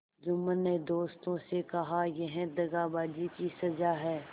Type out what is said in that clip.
जुम्मन ने दोस्तों से कहायह दगाबाजी की सजा है